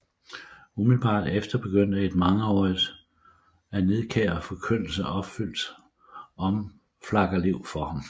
Umiddelbart efter begyndte et mangeaarige af nidkær Forkyndelse opfyldt Omflakkerliv for ham